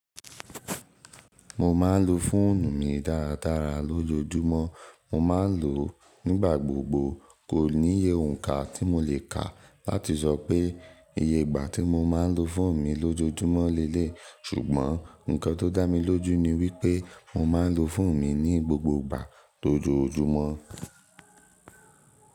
Mo ma n lo fóònù mi dáradára lójoójúmọ́, mo ma n lò ó nígbà gbogbo. Kò níye òǹkà tí mo le kà láti sọ pé iye ìgbà tí mo má n lo fóònù mi lójoójúmọ́ leleyii, ṣùgbọ́n nǹkan tó dá mi lójú ni wípé mo má n lo fóònù mi ní gbogbo ìgbà tó ojoójúmọ́.